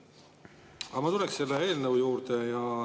Aga ma tulen selle eelnõu juurde.